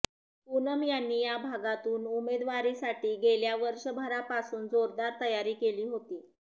पूनम यांनी या भागातून उमेदवारीसाठी गेल्या वर्षभरापासून जोरदार तयारी केली होती